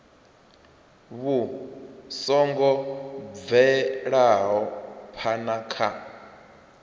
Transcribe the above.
vhu songo bvelaho phana kha